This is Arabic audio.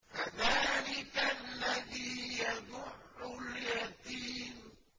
فَذَٰلِكَ الَّذِي يَدُعُّ الْيَتِيمَ